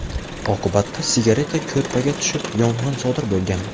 Oqibatda sigareta ko‘rpaga tushib, yong‘in sodir bo‘lgan.